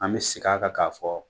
An bɛ segin kan k'a fɔ